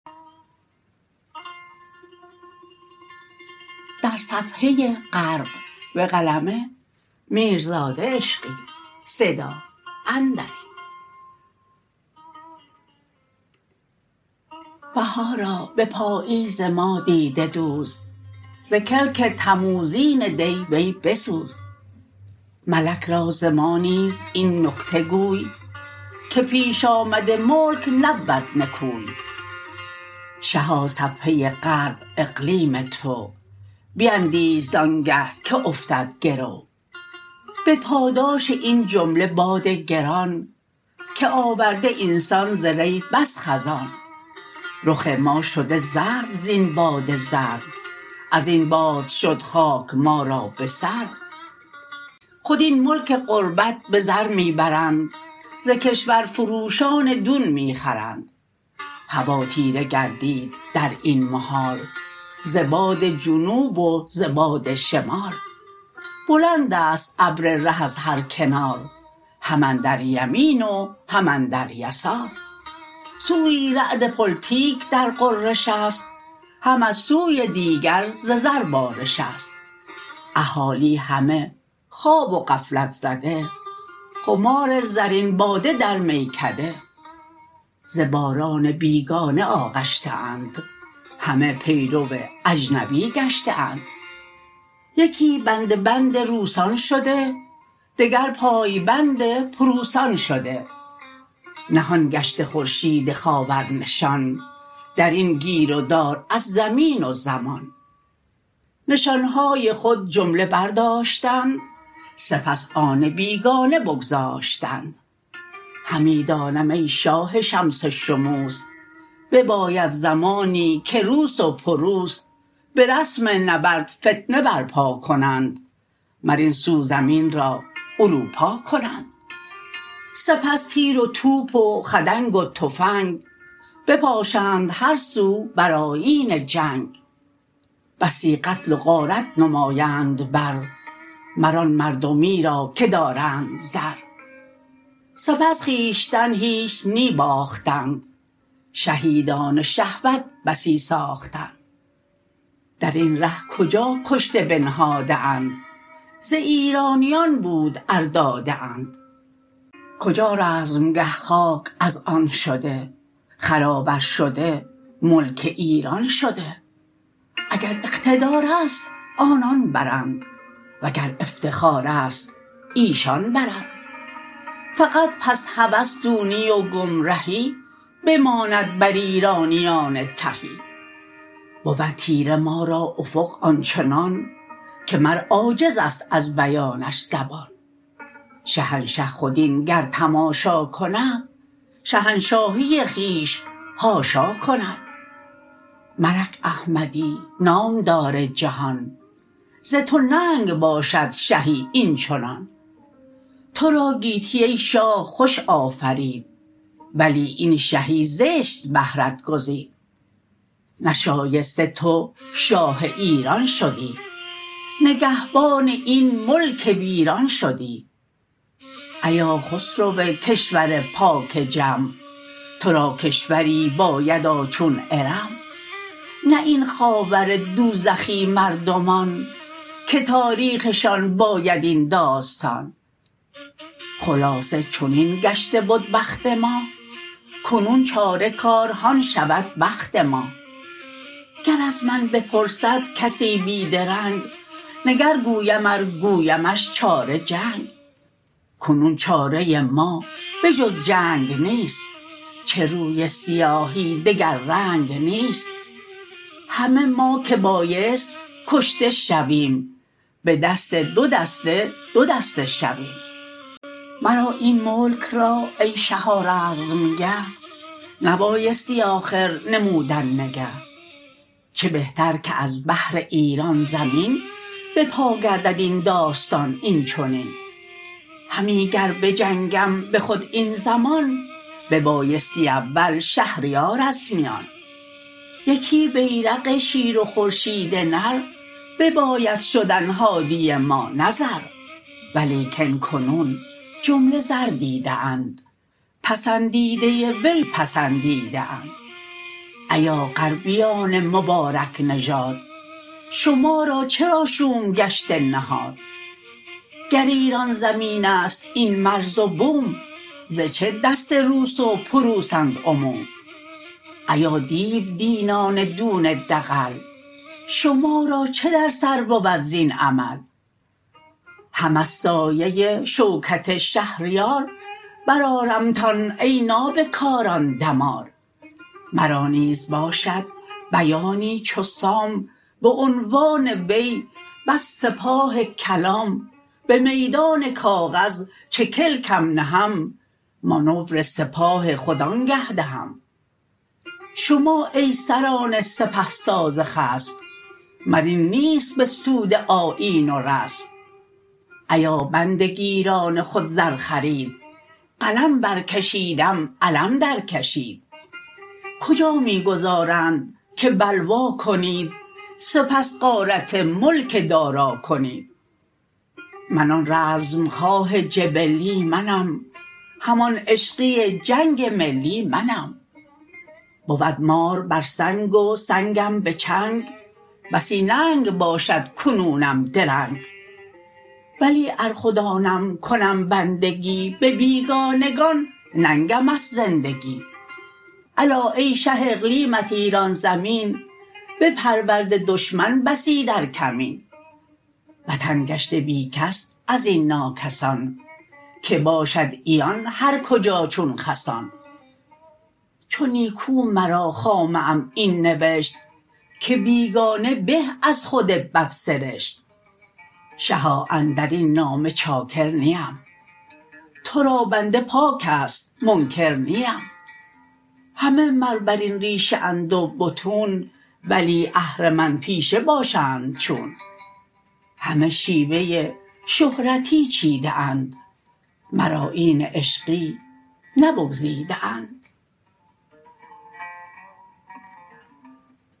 بهارا به پاییز ما دیده دوز ز کلک تموزین دی وی بسوز ملک را ز ما نیز این نکته گوی که پیش آمده ملک نبود نکوی شها صفحه غرب اقلیم تو بیندیش زانگه که افتد گرو به پاداش این جمله باد گران که آورده این سان ز ری بس خزان رخ ما شده زرد زین باد زرد ازین باد شد خاک ما را به سر خود این ملک غربت به زر می برند ز کشورفروشان دون می خرند هوا تیره گردید در این محال ز باد جنوب و ز باد شمال بلند است ابر ره از هر کنار هم اندر یمین و هم اندر یسار سویی رعد پلتیک در غرش است هم از سوی دیگر ز زر بارش است اهالی همه خواب و غفلت زده خمار زرین باده در میکده ز باران بیگانه آغشته اند همه پیرو اجنبی گشته اند یکی بنده بند روسان شده دگر پای بند پروسان شده نهان گشته خورشید خاور نشان در این گیر و دار از زمین و زمان نشان های خود جمله برداشتند سپس آن بیگانه بگذاشتند همی دانم ای شاه شمس شموس بباید زمانی که روس و پروس به رسم نبرد فتنه برپا کنند مر این سو زمین را اروپا کنند سپس تیر و توپ و خدنگ و تفنگ بپاشند هر سو بر آیین جنگ بسی قتل و غارت نمایند بر مر آن مردمی را که دارند زر سپس خویشتن هیچ نی باختند شهیدان شهوت بسی ساختند در این ره کجا کشته بنهاده اند ز ایرانیان بود ار داده اند کجا رزمگه خاک از آن شده خراب ار شده ملک ایران شده اگر اقتدار است آنان برند وگر افتخار است ایشان برند فقط پس هوس دونی و گمرهی بماند بر ایرانیان تهی بود تیره ما را افق آنچنان که مر عاجز است از بیانش زبان شهنشه خود این گر تماشا کند شهنشاهی خویش حاشا کند ملک احمدی نامدار جهان ز تو ننگ باشد شهی این چنان ترا گیتی ای شاه خوش آفرید ولی این شهی زشت بهرت گزید نشایسته تو شاه ایران شدی نگهبان این ملک ویران شدی ایا خسرو کشور پاک جم ترا کشوری بایدا چون ارم نه این خاور دوزخی مردمان که تاریخشان باید این داستان خلاصه چنین گشته بد بخت ما کنون چاره کار هان شود بخت ما گر از من بپرسد کسی بی درنگ نگر گویم ار گویمش چاره جنگ کنون چاره ما به جز جنگ نیست چه روی سیاهی دگر رنگ نیست همه ما که بایست کشته شویم به دست دو دسته دو دسته شویم مرا این ملک را ای شها رزمگه نبایستی آخر نمودن نگه چه بهتر که از بهر ایران زمین به پا گردد این داستان این چنین همی گر بجنگم به خود این زمان ببایستی اول شهریار از میان یکی بیرق شیر و خورشید نر بباید شدن هادی ما نه زر ولیکن کنون جمله زر دیده اند پسندیده وی پسندیده اند ایا غربیان مبارک نژاد شما را چرا شوم گشته نهاد گر ایران زمین است این مرز و بوم ز چه دست روس و پروسند عموم ایا دیو دینان دون دغل شما را چه در سر بود زین عمل هم از سایه شوکت شهریار بر آرمتان ای نابه کاران دمار مرا نیز باشد بیانی چو سام به عنوان وی بس سپاه کلام به میدان کاغذ چه کلکم نهم مانور سپاه خود آنگه دهم شما ای سران سپه ساز خصم مر این نیست بستوده آیین و رسم ایا بنده گیران خود زر خرید قلم برکشیدم علم درکشید کجا می گذارند که بلوا کنید سپس غارت ملک دارا کنید من آن رزمخواه جبلی منم همان عشقی جنگ ملی منم بود مار بر سنگ و سنگم به چنگ بسی ننگ باشد کنونم درنگ ولی ار خود آنم کنم بندگی به بیگانگان ننگم است زندگی الا ای شه اقلیمت ایران زمین بپرورده دشمن بسی در کمین وطن گشته بی کس از این ناکسان که باشد عیان هر کجا چون خسان چو نیکو مرا خامه ام این نوشت که بیگانه به از خود بدسرشت شها اندرین نامه چاکر نیم ترا بنده پاک است منکر نیم همه مر بر این ریشه اند و بطون ولی اهرمن پیشه باشند چون همه شیوه شهرتی چیده اند مر آیین عشقی نه بگزیده اند